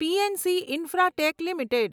PNC Infratech limited